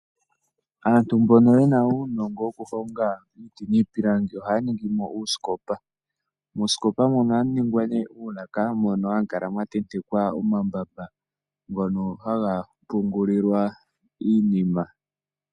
Aantu mbono yena uunongo woku honga iipilangi ohaya ningi mo uusikopa. Muusikopa mono ohamu ningwa ne uulaka mono hamu kala mwa tentekwa omambamba ngono haga pungulilwa iinima.